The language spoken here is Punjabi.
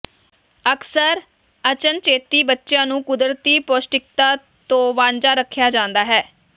ਅਕਸਰ ਅਚਨਚੇਤੀ ਬੱਚਿਆਂ ਨੂੰ ਕੁਦਰਤੀ ਪੌਸ਼ਟਿਕਤਾ ਤੋਂ ਵਾਂਝਾ ਰੱਖਿਆ ਜਾਂਦਾ ਹੈ